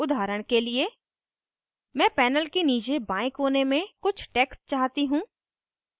उदाहरण के लिए मैं panel के नीचे बाएं कोने में कुछ text चाहती हूँ